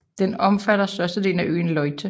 Den omfatter størstedelen af øen Leyte